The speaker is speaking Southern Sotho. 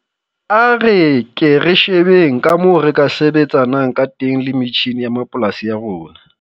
A re ke re shebeng ka moo re ka sebetsanang ka teng le metjhine ya mapolasi a rona.